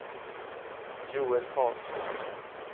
Joel Carlsson